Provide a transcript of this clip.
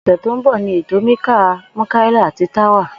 Ò̩sè̩ tó ń bò̩ ni ètò Nikkah Múkáílà àti Tawa